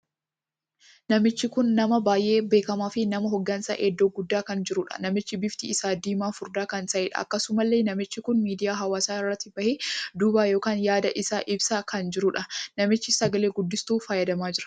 Namichi kun nama baay'ee beekamaa fi nama hoggansaan iddoo guddaa kan jiruudha. Namichi bifti isaa diimaa furdaa kan taheedha. Akkasumallee namichi kun miidiyaa hawaasaa irratti bahee dubbaa ykn yaada isaa ibsaa kan jiruudha. Namichi sagalee guddistuu fayyadamaa jira.